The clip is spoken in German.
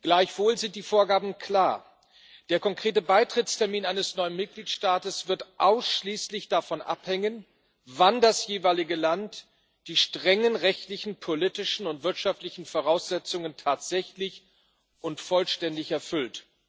Gleichwohl sind die Vorgaben klar Der konkrete Beitrittstermin eines neuen Mitgliedstaates wird ausschließlich davon abhängen, wann das jeweilige Land die strengen rechtlichen, politischen und wirtschaftlichen Voraussetzungen tatsächlich und vollständig erfüllt.